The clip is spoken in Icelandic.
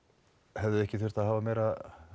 hefði ekki þurft að hafa meira